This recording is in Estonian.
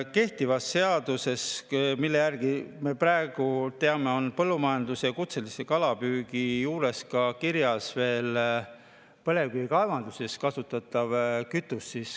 Kehtivas seaduses, mille järgi me praegu tegutseme, on põllumajanduse ja kutselise kalapüügi juures kirjas veel põlevkivikaevanduses kasutatav kütus.